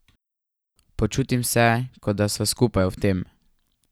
Počutim se, kot da sva skupaj v tem.